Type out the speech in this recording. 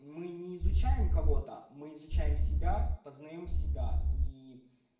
мы не изучаем кого-то мы изучаем себя познаем себя и